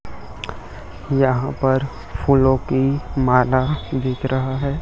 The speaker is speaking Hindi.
यहां पर फूलों की माला बिक रहा है।